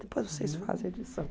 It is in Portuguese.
Depois vocês fazem a edição.